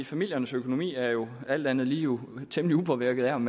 familiernes økonomi er jo alt andet lige temmelig upåvirket af om